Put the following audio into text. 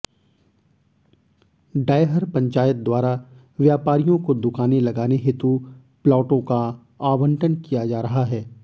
डैहर पंचायत द्वारा व्यापारीयों को दुकाने लगाने हेतु प्लाटों का आबंटन किया जा रहा है